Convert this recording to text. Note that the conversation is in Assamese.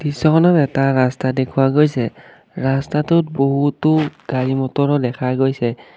দৃশ্যখনত এটা ৰাস্তা দেখুওৱা গৈছে ৰাস্তাটোত বহুতো গাড়ী মটৰো দেখা গৈছে।